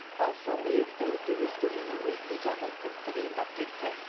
ал соңғы екі тәулікте өскеменнің өзінде жағдай тіпті қиындап кетті